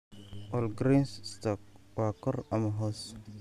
Walgreens stock waa kor ama hoos